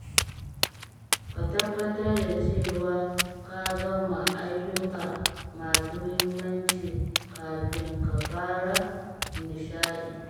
Ka tabbatar da cewa ka gama ayyuka masu muhimmanci kafin ka fara nishaɗi.